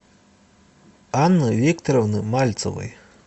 анны викторовны мальцевой